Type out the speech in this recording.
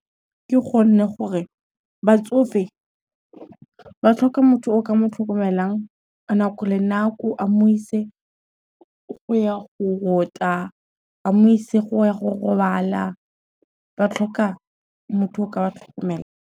Ke gonne gore batsofe, ba tlhoka motho o ka mo tlhokomelang nako le nako a mo ise go ya go rota, a mo ise go ya go robala ba tlhoka motho o ka ba tlhokomelang.